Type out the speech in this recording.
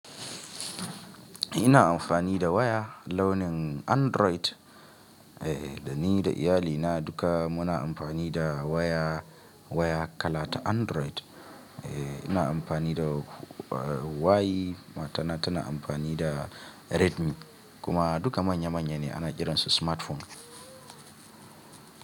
Ina amfani da waya launin Android, eh, da ni da iyalina duka muna amfani da waya, waya kala ta Android. Eh, ina amfani da huai matana tana amfani da Redmi kuma duka manya manya ne ana kiransu smartphone.